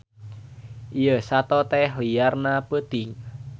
Ieu sato teh liarna peuting.